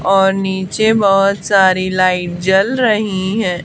और नीचे बहोत सारी लाइट जल रही है।